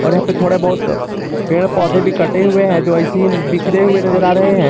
और यहां पे थोड़े बहुत पेड़ पौधे भी कटे हुए है जो ऐसे ही बिखरे हुए नजर आ रहे है।